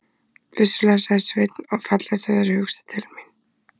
Vissulega, sagði Sveinn, og fallegt af þér að hugsa til mín.